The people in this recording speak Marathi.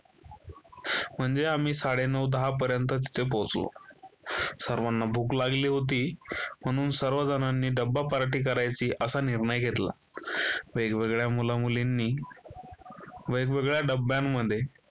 म्हणजे आम्ही साडेनऊ दहा पर्यंत तिथे पोहोचलो. सर्वांना भूक लागली होती. म्हणून सर्वजणांनी डब्बा पार्टी करायची असा निर्णय घेतला. वेगवेगळ्या मुला-मुलींनी वेगवेगळ्या डब्यांमध्ये